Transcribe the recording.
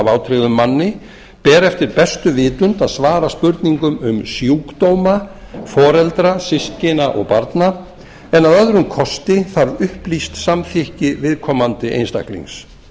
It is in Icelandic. vátryggðum manni ber eftir bestu vitund að svara spurningum um sjúkdóma foreldra systkina og barna en að öðrum kosti þarf upplýst samþykki viðkomandi einstaklings